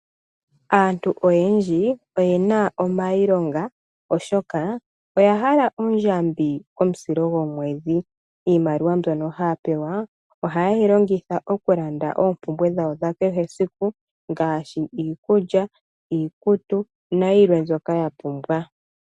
Aantu oyendji oyena omailonga oshoka oyahala ondjambi komusilo gwomwedhi. Iimaliwa mbyono haya pewa, ohayeyi longitha okulanda oompumbwe dhawo dhakehe esiku, ngaashi iikulya, iikutu, nayilwe mbyoka yapumbwa.